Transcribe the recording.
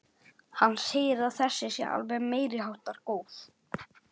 Hann segir að þessi sé alveg meiriháttar góð.